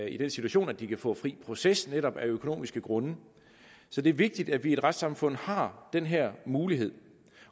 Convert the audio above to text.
i den situation at de kan få fri proces af netop økonomiske grunde så det er vigtigt at vi i et retssamfund har den her mulighed